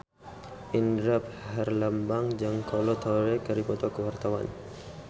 Indra Herlambang jeung Kolo Taure keur dipoto ku wartawan